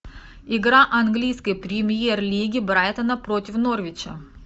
игра английской премьер лиги брайтона против норвича